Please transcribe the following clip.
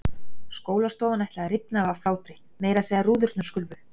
Skólastofan ætlaði að rifna af hlátri, meira að segja rúðurnar skulfu.